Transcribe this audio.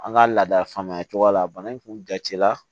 An ka laada faamuya cogoya la bana in kun jala